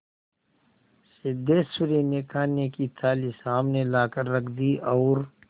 सिद्धेश्वरी ने खाने की थाली सामने लाकर रख दी और